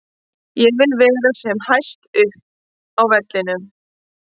Ég vil vera sem hæst upp á vellinum.